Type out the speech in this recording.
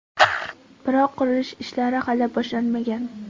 Biroq qurilish ishlari hali boshlanmagan.